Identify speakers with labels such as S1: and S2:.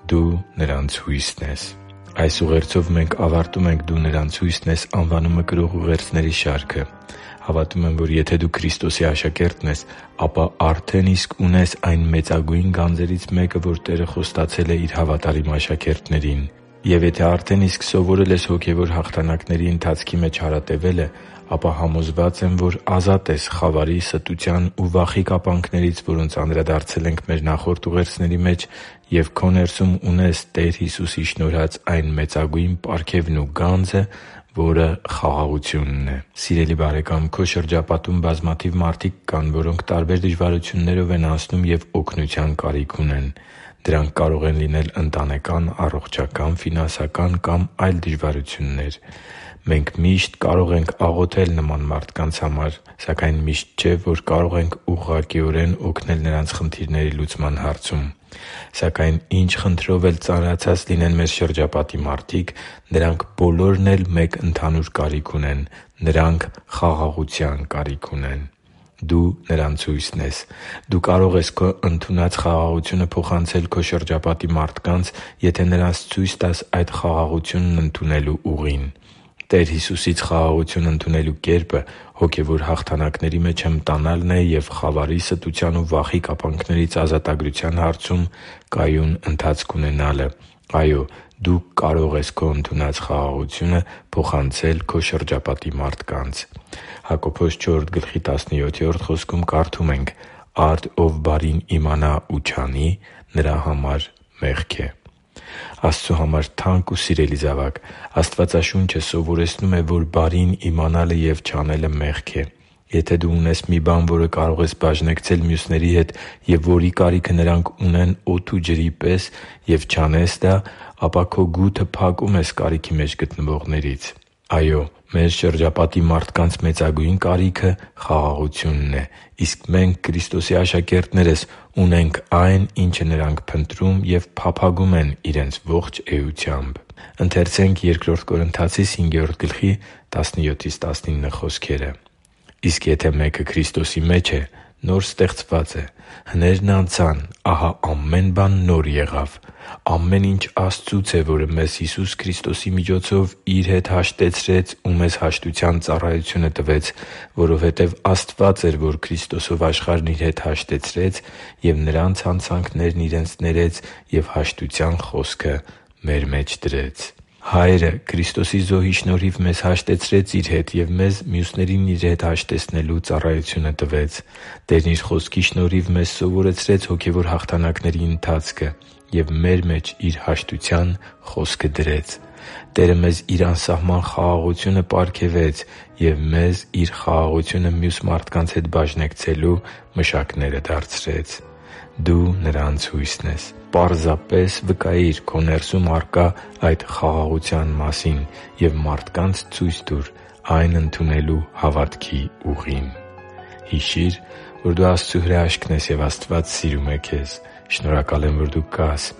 S1: Դու նրանց հույսն ես․․․ Այս ուղերձով մենք ավարտում ենք «Դու նրանց հույսն ես․․․»անվանումը կրող ուղերձների շարքը։ Հավատում եմ, որ եթե դու Քրիստոսի աշակերտն ես, ապա արդեն իսկ ունես այն մեծագույն գանձերից մեկը, որը Տերը խոստացել է Իր հավատարիմ աշակերտներին։ Եվ եթե արդեն իսկ սովորել ես հոգևոր հաղթանակների ընթացքի մեջ հարատևելը, ապա համոզված եմ, որ ազատ ես խավարի, ստության ու վախի կապանքներից, որոնց անդրադարձել ենք մեր նախորդ ուղերձների մեջ, և քո ներսում ունես Տեր Հիսուսի պարգևած այն մեծագույն պարգևն ու գանձը, որը խաղաղությունն է։ Սիրելի՛ բարեկամ, քո շրջապատում բազմաթիվ մարդիկ կան, որոնք տարբեր դժվարություններով են անցնում և օգնության կարիք ունեն։ Դրանք կարող են լինել ընտանեկան, առողջական, ֆինանսական կամ այլ դժվարություններ։ Մենք միշտ կարող ենք աղոթել նման մարդկանց համար և միշտ չէ, որ կարող ենք ուղղակիորեն օգնել նրանց խնդիրների լուծման հարցում։ Սակայն ինչ խնդրով էլ ծանրացած լինեն մեր շրջապատի մարդիկ, նրանք բոլորն էլ մեկ ընդհանուր կարիք ունեն՝ նրանք խաղաղության կարիք ունեն։ «Դու նրանց հույսն ես․․․»։ Դու կարող ես քո ընդունած խաղաղությունը փոխանցել քո շրջապատի մարդկանց, եթե նրանց ցույց տաս այդ խաղաղությունն ընդունելու ուղին։ Տեր Հիսուսից խաղաղություն ընդունելու կերպը հոգևոր հաղթանակների մեջ հմտանալն է և խավարի, ստության ու վախի կապանքներից ազատագրության հարցում կայուն ընթացք ունենալը։ Այո՛, դու կարող ես քո ընդունած խաղաղությունը փոխանցել քո շրջապատի մարդկանց։ «Արդ ով բարին իմանա ու չանի, նրա համար մեղք է» (Հակոբոս 4․17): Աստծու համար թանկ ու սիրելի՛ զավակ, Աստվածաշունչը սովորեցնում է, որ բարին իմանալը և չանելը մեղք է։ Եթե դու ունես մի բան, որը կարող ես բաժնեկցել մյուսների հետ և որի կարիքը նրանք ունեն օդի ու ջրի պես, և չանես դա, ապա քո գութը փակում ես կարիքի մեջ գտնվողներից։ Այո՛, մեր շրջապատի մարդկանց մեծագույն կարիքը խաղաղությունն է, իսկ մենք՝ Քրիստոսի աշակերտներս, ունենք այն, ինչը նրանք փնտրում ու փափագում են իրենց ողջ էությամբ։ «Իսկ եթե մեկը Քրիստոսի մեջ է, նոր ստեղծված է. հներն անցան, ահա ամեն բան նոր եղավ։ Ամեն ինչ Աստծուց է, որը մեզ Հիսուս Քրիստոսի միջոցով Իր հետ հաշտեցրեց ու մեզ հաշտության ծառայությունը տվեց։ Որովհետև Աստված էր, որ Քրիստոսով աշխարհն Իր հետ հաշտեցրեց և նրանց հանցանքներն իրենց ներեց և հաշտության խոսքը մեր մեջ դրեց» (Բ Կորնթացիս 5․17-19): Հայրը Քրիստոսի զոհի շնորհիվ մեզ հաշտեցրեց Իր հետ և մեզ մյուսներին Իր հետ հաշտեցնելու ծառայությունը տվեց։ Տերն Իր Խոսքի շնորհիվ մեզ սովորեցրեց հոգևոր հաղթանակների ընթացքը և մեր մեջ Իր հաշտության խոսքը դրեց։ Տերը մեզ Իր անսասան խաղաղությունը պարգևեց և մեզ Իր խաղաղությունը մյուս մարդկանց հետ բաժնեկցելու մշակները դարձրեց։ «Դու նրանց հույսն ես․․․»։ Ուղղակի վկայի՛ր քո ներսում առկա այդ խաղաղության մասին և մարդկանց ցույց տուր այն ընդունելու հավատքի ուղին․․․ Հիշի՛ր, որ դու Աստծո հրաշքն ես, և Աստված սիրում է քեզ։ Շնորհակալ եմ, որ դու կա՛ս